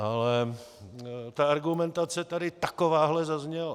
Ale ta argumentace tady takováhle zazněla.